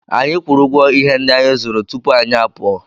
Anyị kwụrụ ụgwọ ihe ndị anyị zụrụ tupu anyị apụọ.